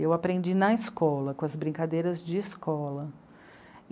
Eu aprendi na escola, com as brincadeiras de escola.